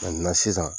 sisan